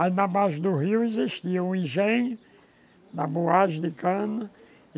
Aí na base do rio existia o higiene, da boagem de cana.